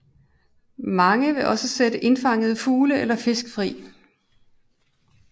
Mange vil også sætte indfangede fugle eller fisk fri